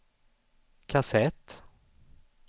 kassett